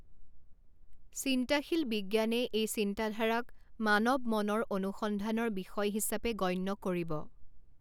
চিন্তাশীল বিজ্ঞানে এই চিন্তাধাৰাক মানৱ মনৰ অনুসন্ধানৰ বিষয় হিচাপে গণ্য কৰিব।